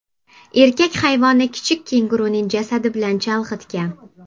Erkak hayvonni kichik kenguruning jasadi bilan chalg‘itgan.